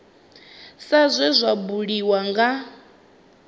sa zwe zwa buliwa nga